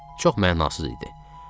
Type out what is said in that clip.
Çox mənasız idi.